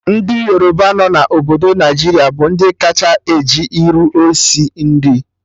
Ndị Yoruba nọ na obodo Naijiria bụ ndị kacha eji iru esi nri